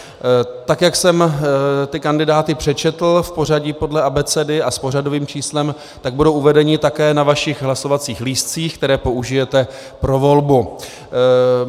Tak jak jsem ty kandidáty přečetl v pořadí podle abecedy a s pořadovým číslem, tak budou uvedeni také na vašich hlasovacích lístcích, které použijete pro volbu.